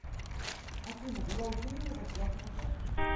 афина была утеряна зарплатная карта